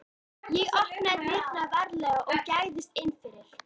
Ég opnaði dyrnar varlega og gægðist inn fyrir.